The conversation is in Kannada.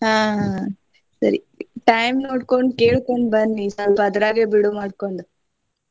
ಹಾ ಹಾ ಸರಿ time ನೋಡ್ಕೊಂಡ್ ಕೇಳ್ಕೊಂಡ್ ಬನ್ನಿ ಸ್ವಲ್ಪ ಅದ್ರಾಗೆ ಬಿಡುವು ಮಾಡ್ಕೊಂಡು.